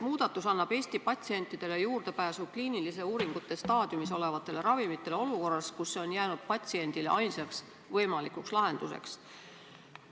Muudatus annab Eesti patsientidele juurdepääsu kliinilise uuringute staadiumis olevatele ravimitele olukorras, kus see on jäänud patsiendile ainsaks võimalikuks lahenduseks.